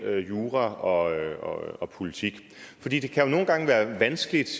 jura og og politik det det kan jo nogle gange være vanskeligt